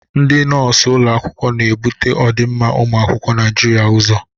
Ndị nọọsụ ụlọ akwụkwọ na-ebute ọdịmma ụmụ akwụkwọ Naịjiria ụzọ.